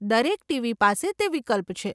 દરેક ટીવી પાસે તે વિકલ્પ છે.